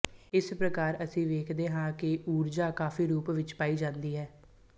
ਇਸ ਪ੍ਰਕਾਰ ਅਸੀਂ ਵੇਖਦੇ ਹਾਂ ਕਿ ਊਰਜਾ ਕਈ ਰੂਪਾਂ ਵਿੱਚ ਪਾਈ ਜਾਂਦੀ ਹੈ